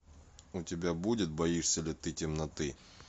у тебя будет боишься ли ты темноты